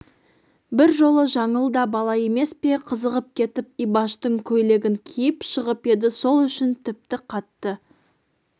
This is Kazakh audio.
бір жолы жаңыл да бала емес пе қызығып кетіп ибаштың көйлегін киіп шығып еді сол үшін тіпті қатты